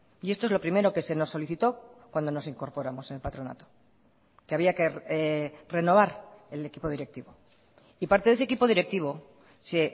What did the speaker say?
y esto es lo primero que se nos solicitó cuando nos incorporamos en el patronato que había que renovar el equipo directivo y parte de ese equipo directivo se